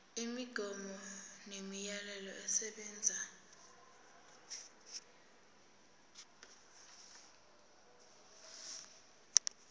imigomo nemiyalelo esebenza